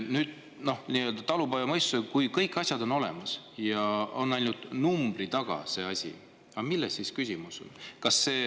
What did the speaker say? Nüüd, nii-öelda talupoja mõistusega kui kõik asjad on olemas ja ainult numbri taga seisab see asi, siis milles on küsimus.